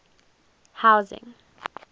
housing